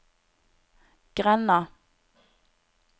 grenda